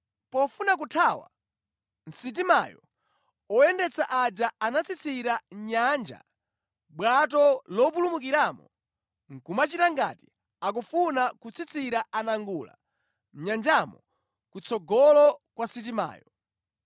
Pofuna kuthawa mʼsitimayo, oyendetsa aja anatsitsira mʼnyanja bwato lopulumukiramo nʼkumachita ngati akufuna kutsitsira anangula mʼnyanjamo kutsogolo kwa sitimayo.